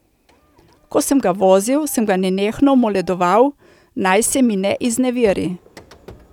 Ko sem ga vozil, sem ga nenehno moledoval, naj se mi ne izneveri.